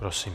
Prosím.